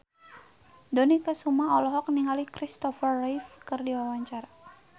Dony Kesuma olohok ningali Christopher Reeve keur diwawancara